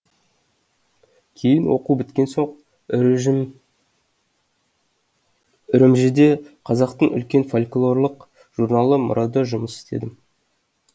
кейін оқу біткен соң үрімжіде қазақтың үлкен фольклорлық журналы мұрада жұмыс істедім